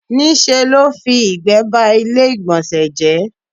Ní ṣe ló fi ìgbẹ́ ba ilé ìgbọ̀nsẹ̀ jẹ́.